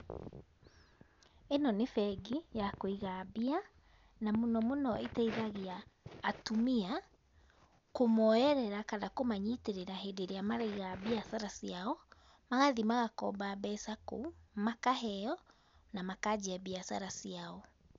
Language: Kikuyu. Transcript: Ĩno nĩ bengi ya kũiga mbia, na mũno mũno ĩteithagia atumia kũmoyerera kana kũmanyitĩrĩra hĩndĩ ĩrĩa maraiga biacara ciao, magathiĩ magakomba mbeca kũu, makaheo, na makanjia mbiacara ciao.